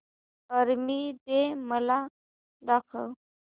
army day मला दाखव